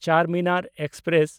Charminar express